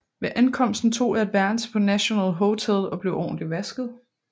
Ved ankomsten tog jeg et værelse på National Hotel og blev ordentligt vasket